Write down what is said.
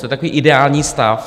To je takový ideální stav.